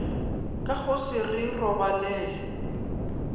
ka go se re robalele